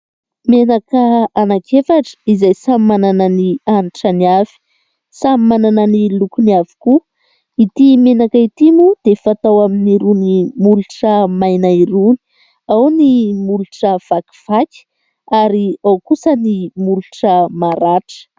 Menaka anakiefatra izay samy manana ny hanitrany avy samy manana ny lokony avokoa. Ity menaka ity moa dia fatao amin'irony molotra maina irony ao ny molotra vakiaky ary ao kosa ny molotra maratra.